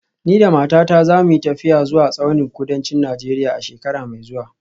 Ni da matata za mu yi tafiya zuwa tsaunin kudancin Najeriya a shekara mai zuwa